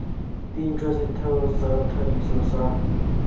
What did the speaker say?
dintšhwa setheo sa thadiso sa